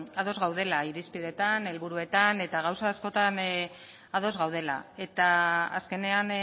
ados gaudela irizpideetan helburuetan eta gauza askotan ados gaudela eta azkenean